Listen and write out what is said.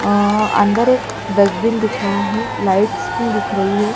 अ अंदर एक डस्टबिन दिख रहा है लाइट्स भी दिख रही है।